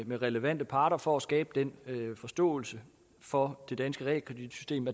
med relevante parter for at skabe den forståelse for det danske realkreditsystem